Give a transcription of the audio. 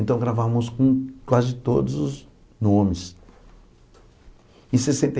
Então gravamos com quase todos os nomes.